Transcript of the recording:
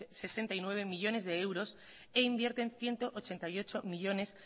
sesenta y nueve millónes de euros e inviertan ciento ochenta y ocho millónes